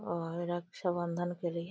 और रक्षाबंधन के लिए --